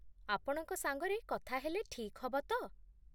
ଆପଣଙ୍କ ସାଙ୍ଗରେ କଥା ହେଲେ ଠିକ୍ ହବ ତ?